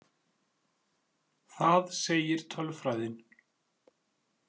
Það segir tölfræðin.